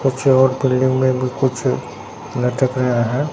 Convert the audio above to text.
कुछ और बिल्डिंग में भी कुछ लटक रहा है।